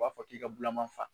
U b'a fɔ k'i ka bulaman fa.